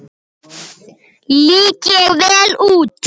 Lít ég vel út?